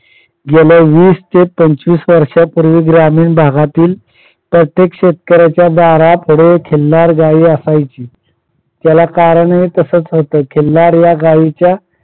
गेल्या वीस ते पंचवीस वर्षापूर्वी ग्रामीण भागातील प्रत्येक शेतकऱ्याच्या दारापुढे खिल्लार गाई असायची. त्याला कारण हेच होतं की खिल्लार या गाईच्या